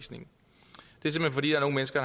skal